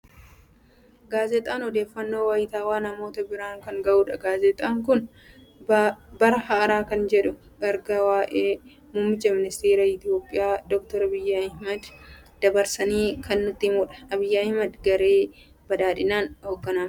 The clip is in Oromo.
Gaazexaan odeeffannooo wayitaawwaa namoota biraan kan ga'udha. Gaazexaan kun bara haaraa kan jedhuun ergaa waa'ee muummichi ministeera Itoophiyaa Dookter Abiyyi Ahmed dabarsanii kan nutti himudha. Abiyyi Ahmed garee badhaadhinaan hoogganamu.